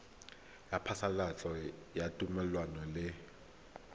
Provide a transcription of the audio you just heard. ya phasalatso ya thomelontle le